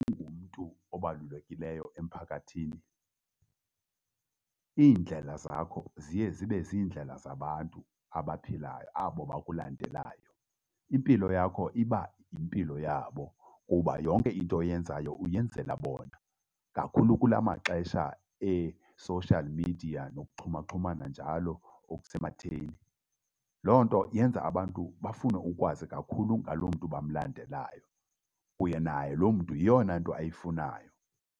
Ungumntu obalulekileyo emphakathini, iindlela zakho ziye zibe ziindlela zabantu abaphilayo abo bakulandelayo. Impilo yakho iba yimpilo yabo kuba yonke into oyenzayo uyenzela bona, kakhulu kula maxesha e-social media nokuxhumaxhumana njalo okusematheni. Loo nto yenza abantu bafune ukwazi kakhulu ngaloo mntu bamlandelayo uye naye loo mntu yeyona nto ayifunayo.